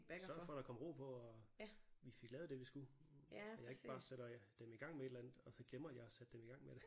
Og sørger for der kom ro på og vi fik lavet det vi skulle at jeg ikke bare sætter dem i gang med et eller andet og så glemmer jeg at sætte dem i gang med det